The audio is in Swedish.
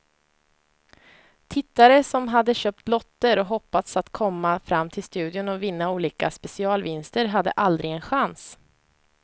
Tittare som hade köpt lotter och hoppats att komma fram till studion och vinna olika specialvinster hade aldrig en chans.